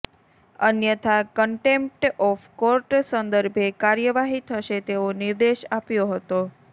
અન્યથા contempt of court સંદર્ભે કાર્યવાહી થશે તેવો નિર્દેશ આપ્યો હતો